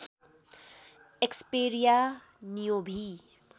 Xperia Neo V